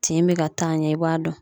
Tin bɛ ka taa ɲɛ; i b'a dɔn.